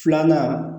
Filanan